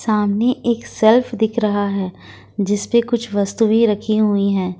सामने एक सेल्फ दिख रहा है जिसपे कुछ वस्तुएं रखी हुई है।